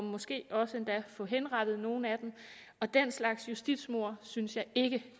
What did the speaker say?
måske endda også få henrettet nogle af dem og den slags justitsmord synes jeg ikke